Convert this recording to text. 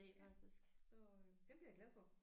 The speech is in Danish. Ja så øh dem bliver jeg glad for